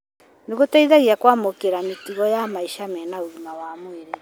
nĩ gũteithagia kũmakĩra mĩtugo yamaica mena ũgima wa mwĩrĩ.